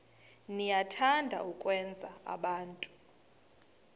niyathanda ukwenza abantu